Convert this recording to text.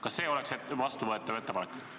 Kas see oleks vastuvõetav ettepanek?